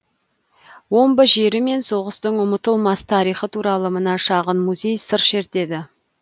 омбы жері мен соғыстың ұмытылмас тарихы туралы мына шағын музей сыр шертеді